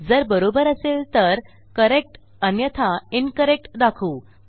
जर बरोबर असेल तर करेक्ट अन्यथा इन्करेक्ट दाखवू